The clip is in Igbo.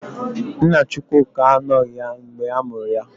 Nna Chukwuka anọghị ya mgbe ha mụrụ ya.